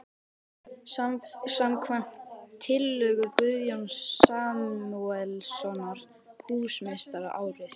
. samkvæmt tillögu Guðjóns Samúelssonar húsameistara árið